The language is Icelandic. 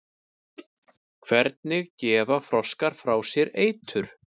hvernig gefa froskar frá sér eitur